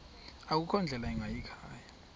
akukho ndlela ingayikhaya